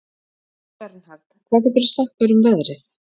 Bernhard, hvað geturðu sagt mér um veðrið?